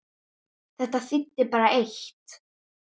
Þetta þýddi bara eitt!